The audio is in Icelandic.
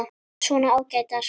Svona ágætar.